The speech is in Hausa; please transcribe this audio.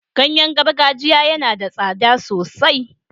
Ganye gargajiya yana da tsada sosai.